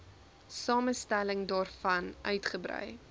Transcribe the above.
samestelling daarvan uitgebrei